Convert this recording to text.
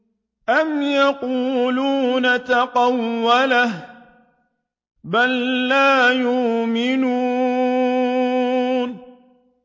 أَمْ يَقُولُونَ تَقَوَّلَهُ ۚ بَل لَّا يُؤْمِنُونَ